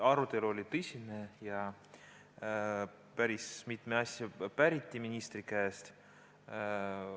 Arutelu oli tõsine ja päris mitut asja päriti ministri käest.